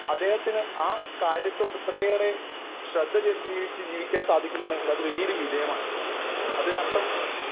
Speaker 1 അദ്ദേഹത്തിന് ആ കാര്യത്തോട് ഇത്രയേറെ ശ്രദ്ധ കേന്ദ്രീകരിച്ച് ജീവിക്കാൻ സാധിക്കുന്നുണ്ടെങ്കിൽ അത് വലിയൊരു വിജയമാണ്. അതിനർത്ഥം